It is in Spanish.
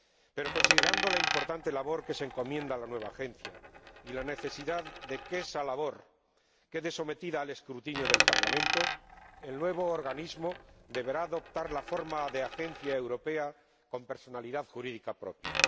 Pero, considerando la importante labor que se encomienda a la nueva Agencia y la necesidad de que esa labor quede sometida al escrutinio del Parlamento, el nuevo organismo deberá adoptar la forma de agencia europea con personalidad jurídica propia.